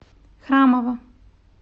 храмова